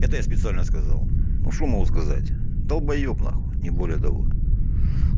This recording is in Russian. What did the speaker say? это я специально сказал ну что могу сказать долбаеб нахуй не более того